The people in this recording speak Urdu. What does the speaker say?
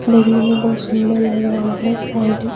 دیکھنے میں بہت سندر لگ رہا ہے -سائیڈ